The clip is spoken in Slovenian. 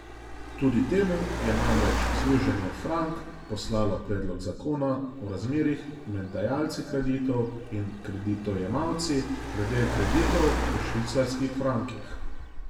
Tudi temu je namreč Združenje Frank poslalo predlog zakona o razmerjih med dajalci kreditov in kreditojemalci glede kreditov v švicarskih frankih.